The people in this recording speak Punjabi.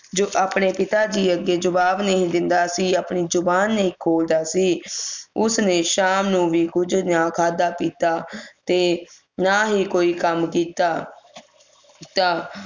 ਜੋ ਆਪਣੇ ਪਿਤਾਜੀ ਅੱਗੇ ਜਵਾਬ ਨਹੀਂ ਦਿੰਦਾ ਸੀ ਆਪਣੀ ਜੁਬਾਨ ਨਹੀਂ ਖੋਲ੍ਹਦਾ ਸੀ ਉਸ ਨੇ ਸ਼ਾਮ ਨੂੰ ਵੀ ਕੁਝ ਨਾ ਖਾਦਾ ਪੀਤਾ ਤੇ ਨਾ ਹੀ ਕੋਈ ਕੰਮ ਕੀਤਾ ਤਾ